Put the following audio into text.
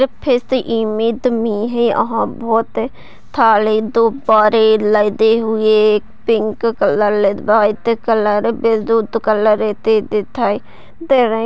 ईस image मे यहाँ बहुत सारे दुब्बारे लगे हुए pink colour white colour blue colour एसे दिखाई दे रहे।